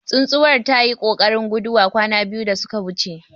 Tsuntuwar tayi kokarin guduwa kwana biyu da suka wuce.